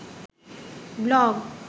blog